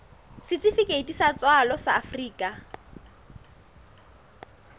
setifikeiti sa tswalo sa afrika